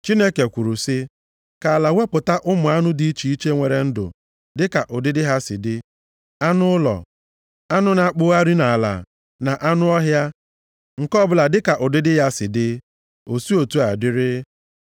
Chineke kwuru sị, “Ka ala wepụta ụmụ anụ dị iche iche nwere ndụ dịka ụdịdị ha si dị: anụ ụlọ, anụ na-akpụgharị nʼala, na anụ ọhịa, nke ọbụla dịka ụdịdị ya si dị.” O si otu a dịrị.